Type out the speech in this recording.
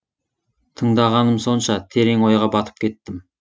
тыңдағаным сонша терең ойға батып кеттім